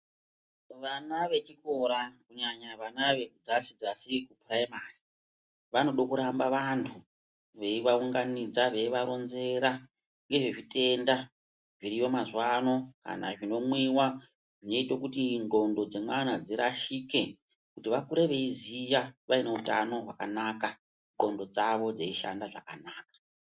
Vana vechikora kunyanya vana vedzasi dzasi iyoo vaya vaya vanode kuramba vandu veyi vaunganidza veyivaronzera ngezvezvitenda zviriyo mazuva ano kana zvinomwiwa zvinoite nxondo dzevana dzirashike kuti vakuru veyiziva vaine utano wakanaka nxondo dzvo dzeishanda zvakanaka.